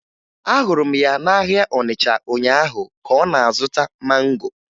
Ahụrụ m ya n'ahịa Ọnịcha ụnyaahụ ka ọ na-azụta mango